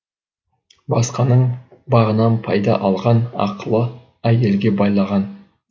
басқаның бағынан пайда алған ақылы әйелге байлаған